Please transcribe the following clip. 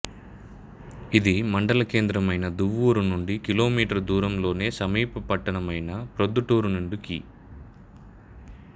ఇది మండల కేంద్రమైన దువ్వూరు నుండి కి మీ దూరం లోను సమీప పట్టణమైన ప్రొద్దుటూరు నుండి కి